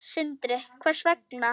Sindri: Hvers vegna?